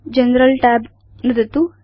general tab नुदतु